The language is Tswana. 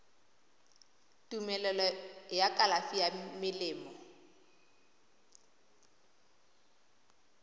tumelelo ya kalafi ya melemo